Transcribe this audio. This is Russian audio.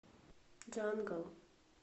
джангл